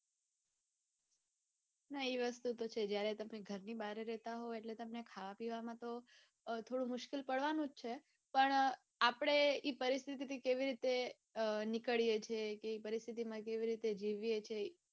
હા એ વસ્તુ છે જયારે તમે ઘણી બહાર રહેતા હોય તએટલે તમને થોડી મુશ્કિલ પડવાનું છે પણ આપડે ઈ પરિસ્થિતિથી કેવી રીતે નીકળીએ છીએ કે એ પરીસ્થીમાં કેવી રીતે જીવીયે છીએ.